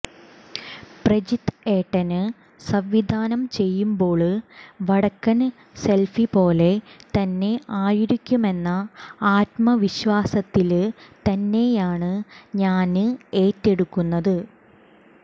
പ്രജിത്ത് ഏട്ടന് സംവിധാനം ചെയ്യുമ്പോള് വടക്കന് സെല്ഫി പോലെ തന്നെ ആയിരിക്കുമെന്ന ആത്മവിശ്വാസത്തില് തന്നെയാണ് ഞാന് ഏറ്റെടുക്കുന്നത്